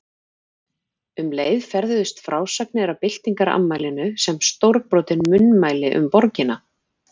Um leið ferðuðust frásagnir af byltingarafmælinu sem stórbrotin munnmæli um borgina.